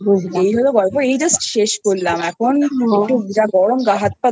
এই হলো গল্প এই Just শেষ করলাম এখন যা গরম